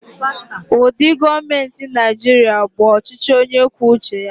Ụdị gọọmenti Nigeria bụ ọchịchị onye kwuo uche ya.